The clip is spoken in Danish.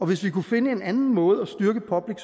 hvis vi kunne finde en anden måde at styrke public